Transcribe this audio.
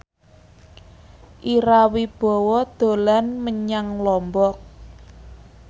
Ira Wibowo dolan menyang Lombok